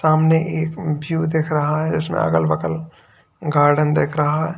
सामने एक व्यू दिख रहा है जिसमें अगल बगल गार्डन दिख रहा है।